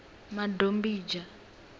madombidzha